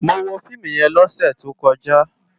Mó wó fiimú yèn lòsè tókòjá